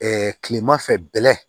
kilema fɛ bɛlɛn